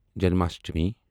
Janmashtami